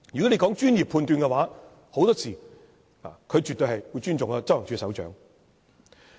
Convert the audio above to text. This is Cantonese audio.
說到專業判斷，很多時候，專員絕對會尊重執行處首長。